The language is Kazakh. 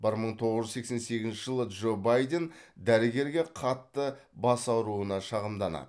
бір мың тоғыз жүз сексен сегізінші жылы джо байден дәрігерге қатты бас ауруына шағымданады